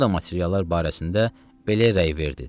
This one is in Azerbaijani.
Bu da materiallar barəsində belə rəy verdi.